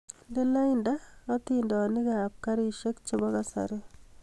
Indene lainda hatindonik kab karishek chebo kasari